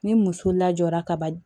Ni muso lajɔra kaban